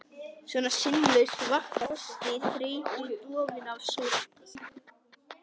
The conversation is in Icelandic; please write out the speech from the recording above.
Svona sinnulaus, vankaður af frosti, þreytu, dofinn af sorg.